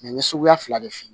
n ye suguya fila de f'i ye